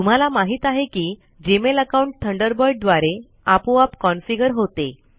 तुम्हाला माहित आहे की जीमेल अकाउंट थंडरबर्ड द्वारे आपोआप कॉन्फीगर होते